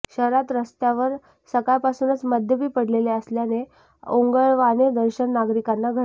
शहरात रस्त्यावर सकाळपासूनच मद्यपी पडलेले असल्याने ओंगळवाणे दर्शन नागरिकांना घडते